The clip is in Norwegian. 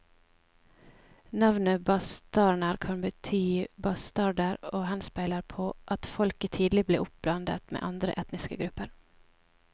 Navnet bastarner kan bety bastarder og henspeiler på at folket tidlig ble oppblandet med andre etniske grupper.